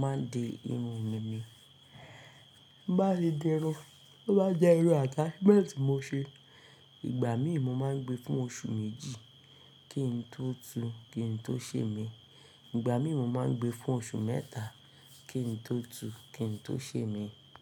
máa di irun mi ni. Tí nbá ti di irun, tó bá jẹ́ irun attachment ni mo ṣe, ìgbà mí ì mo máa ń gbe fún oṣù méjì kí n tó tùú, kí n tó sè mí. Ìgbà mí ì mo máa ń gbe fún oṣù mẹ́ta kí n tó tùú, kí n tó sè mí.